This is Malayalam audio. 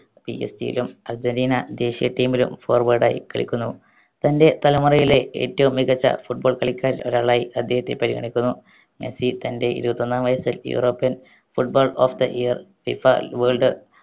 PSG യിലും അർജന്റീന ദേശീയ team ലും forward ആയി കളിക്കുന്നു തൻറെ തലമുറയിലെ ഏറ്റവും മികച്ച football കളിക്കാരിൽ ഒരാളായി അദ്ദേഹത്തെ പരിഗണിക്കുന്നു മെസ്സി തൻ്റെ ഇരുപത്തിയൊന്നാം വയസ്സിൽ european footballer of the yearFIFAworld